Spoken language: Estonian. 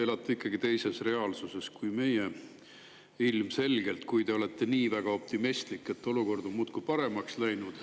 Te elate ikkagi ilmselgelt teises reaalsuses kui meie, kui te olete nii väga optimistlik, et olukord on muudkui paremaks läinud.